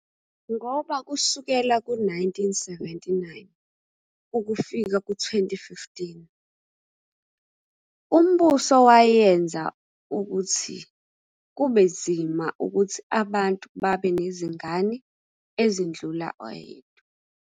Ngoba kusukela u-1979 ukufika ku-2015, umbuso wayenza ukuthi kubenzima ukuthi abantu babe nezingane ezindlula oyedwa.